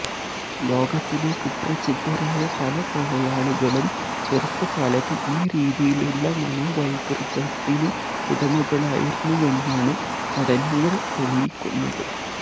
ലോകത്തിലെ കുപ്രസിദ്ധരായ പല കൊലയാളികളും ചെറുപ്പകാലത്ത് ഈ രീതിയിലുള്ള മനോവൈകൃതത്തിന് ഉടമകളായിരുന്നുവെന്നാണ് പഠനങ്ങള് തെളിയിക്കുന്നത്